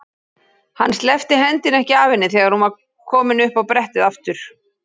Hann sleppti hendinni ekki af henni þegar hún var komin upp á brettið aftur.